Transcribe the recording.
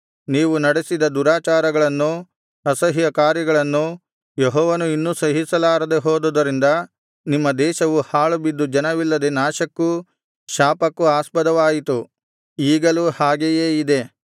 ನೀವು ನಡೆಸಿದ ದುರಾಚಾರಗಳನ್ನೂ ಅಸಹ್ಯಕಾರ್ಯಗಳನ್ನೂ ಯೆಹೋವನು ಇನ್ನು ಸಹಿಸಲಾರದೆ ಹೋದುದರಿಂದ ನಿಮ್ಮ ದೇಶವು ಹಾಳುಬಿದ್ದು ಜನವಿಲ್ಲದೆ ನಾಶಕ್ಕೂ ಶಾಪಕ್ಕೂ ಆಸ್ಪದವಾಯಿತು ಈಗಲೂ ಹಾಗೆಯೇ ಇದೆ